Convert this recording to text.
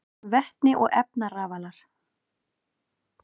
Vetni og efnarafalar: